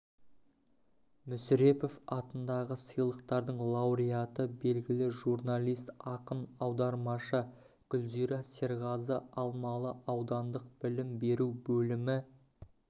мүсірепов атындағы сыйлықтардың лауреаты белгілі журналист ақын аудармашы гүлзира серғазы алмалы аудандық білім беру бөлімі